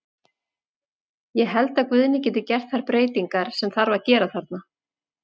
Ég held að Guðni geti gert þær breytingar sem þarf að gera þarna.